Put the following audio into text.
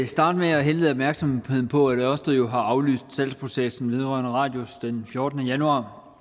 starte med at henlede opmærksomheden på at ørsted jo har aflyst salgsprocessen vedrørende radius den fjortende januar